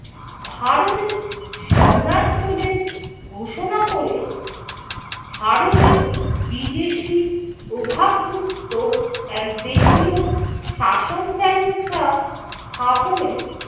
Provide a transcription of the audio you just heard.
ভারতের সম্রাট বলে ঘোষণা ক'রে ভারতে বিদেশি প্রভাবমুক্ত এক দেশীয় শাসন ব্যবস্থা স্থাপনে